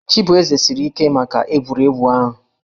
Chibueze siri ike maka egwuregwu ahụ